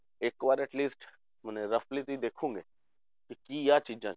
ਇੱਕ ਵਾਰ atleast ਮਨੇ roughly ਤੁਸੀਂ ਦੇਖੋਗੇ, ਵੀ ਕੀ ਆਹ ਚੀਜ਼ਾਂ